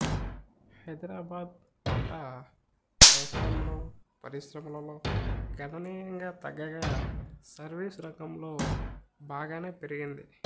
హైదరాబాద్ వాటా వ్యవసాయంలో పరిశ్రమలలో గణనీయంగా తగ్గగా సర్వీస్ రంగంలో బాగానే పెరిగింది